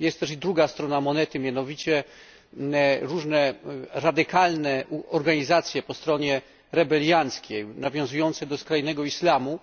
Jest też i druga strona monety, mianowicie różne radykalne organizacje po stronie rebelianckiej, nawiązujące do skrajnego islamu,